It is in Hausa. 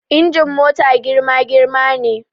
Injin mota girma girma ne